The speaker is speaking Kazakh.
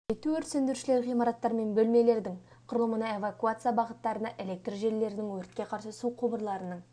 ету өрт сөндірушілер ғимараттар мен бөлмелердің құрылымына эвакуация бағыттарына электр желілерінің өртке қарсы су құбырларының